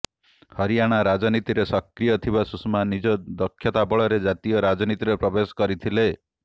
ହରିୟାଣା ରାଜନୀତିରେ ସକ୍ରିୟ ଥିବା ସୁଷମା ନିଜ ଦକ୍ଷତା ବଳରେ ଜାତୀୟ ରାଜନୀତିରେ ପ୍ରବେଶ କରିଥିଲେ